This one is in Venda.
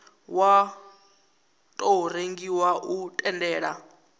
wa tou rengiwa u tendela